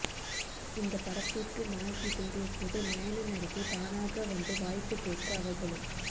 இந்த படத்திற்கு நாயகி தேடியபோது நயன நடிகை தானாக வந்து வாய்ப்பு கேட்க அவர்களும்